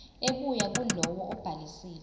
ebuya kulowo obhalisile